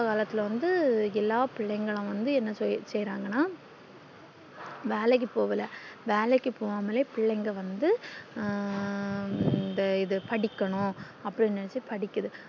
இப்போ உள்ள காலத்துல எல்லாம் பிள்ளைகளும் வந்து என்ன செய்றாங்கான வேலைக்கு போகல வேலைக்கு போகாமலே பிள்ளைங்க வந்து ஹம் இந்த இது படிக்கணும் அப்டின்னு நெனச்சி படிக்குது